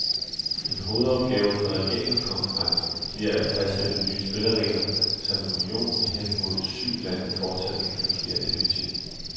En hovedopgave for regeringskonference bliver at fastsætte nye spilleregler, så en union med hen mod to syv lande fortsat kan fungere effektivt.